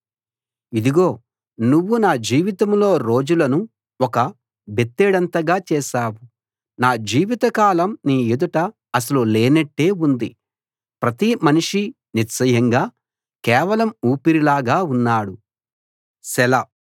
ఇదిగో నువ్వు నా జీవితంలో రోజులను ఒక బెత్తెడంతగా చేశావు నా జీవితకాలం నీ ఎదుట అసలు లేనట్టే ఉంది ప్రతి మనిషీ నిశ్చయంగా కేవలం ఊపిరిలాగా ఉన్నాడు సెలా